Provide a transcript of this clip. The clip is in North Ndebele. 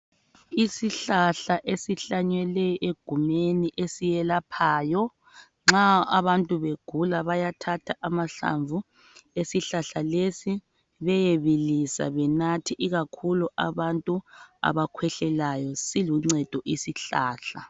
Isihlahla esihlanyele egumeni esiyelaphayo nxa abantu begula bayathatha amahlamvu esihlahla lesi beyebilisa benathe ikakhulu abantu abakhwehlelayo siluncedo isihlahla.